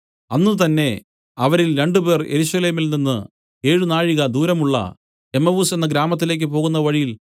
അന്നുതന്നെ അവരിൽ രണ്ടുപേർ യെരൂശലേമിൽ നിന്നു ഏഴ് നാഴിക ദൂരമുള്ള എമ്മവുസ്സ് എന്ന ഗ്രാമത്തിലേക്ക് പോകുന്ന വഴിയിൽ